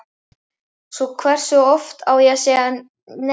Svo hversu oft á ég að segja nei?